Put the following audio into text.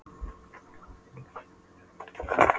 Á hvaða villigötum vorum við eiginlega?